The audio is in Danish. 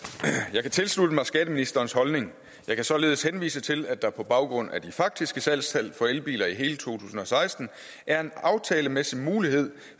jeg kan tilslutte mig skatteministerens holdning jeg kan således henvise til at der på baggrund af de faktiske salgstal for elbiler i hele to tusind og seksten er en aftalemæssig mulighed